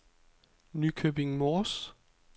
Nykøbing Mors